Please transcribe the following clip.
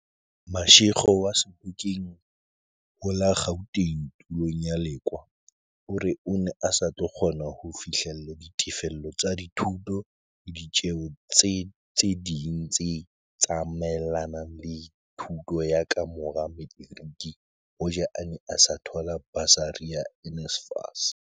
Mashego wa Sebokeng ho la Gauteng tulong ya Lekoa o re o ne a sa tlo kgona ho fihlella ditefello tsa dithuto le ditjeo tse ding tse tsa maelanang le thuto ya ka mora materiki hoja a ne a sa thola basari ya NSFAS.